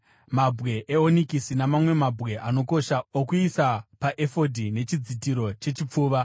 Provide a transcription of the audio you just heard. mabwe eonikisi namamwe mabwe anokosha okuisa paefodhi nechidzitiro chechipfuva.